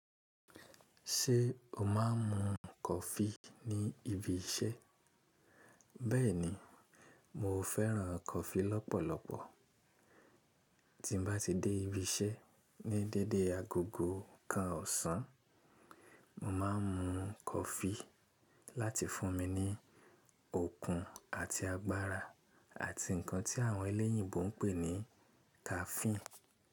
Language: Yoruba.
Ṣé o má ń mu kọfi ní ibi iṣẹ́? Bẹ́ẹ̀ni, mo fẹ́ràn kọfi lọ́pọ̀lọpọ̀. Tí m bá ti dé ibi iṣẹ́ ní dédé agogo kan ọ̀sán, mo má ń mu kọfi láti fún mi ní okun àti agbára àti nǹkan tí àwọn ẹlẹ́yìnbo ń pè ní caffeine.